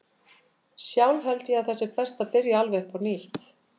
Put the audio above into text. Sjálf held ég að það sé best að byrja alveg upp á nýtt.